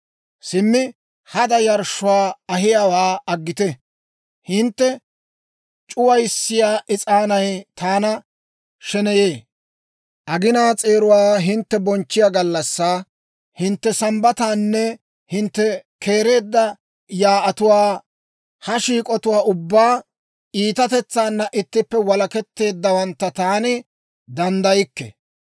Simmi hada yarshshuwaa ahiyaawaa aggite! Hintte c'uwissiyaa is'aanay taana sheneyee; aginaa s'eeruwaa hintte bonchchiyaa gallassaa, hintte Sambbataanne hintte keereedda yaa'atuwaa, ha shiik'atuwaa ubbaa iitatetsaana ittippe walaketteeddawantta taani danddaykke.